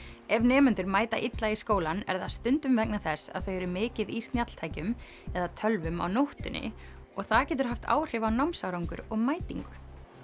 ef nemendur mæta illa í skólann er það stundum vegna þess að þau eru mikið í snjalltækjum eða tölvum á nóttunni og það getur haft áhrif á námsárangur og mætingu